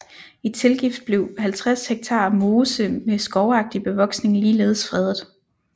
I tilgift blev 50 ha mose med skovagtig bevoksning ligeledes fredet